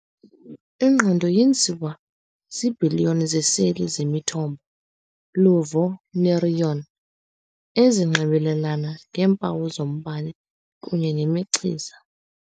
"Ingqondo yenziwa ziibhiliyoni zeeseli zemithambo-luvo, neuron, ezinxibelelana ngeempawu zombane kunye nemichiza."